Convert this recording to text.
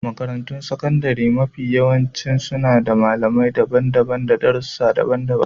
Makarantun sakandare mafiyawanci suna da malamai daban-daban na darussa daban-daban.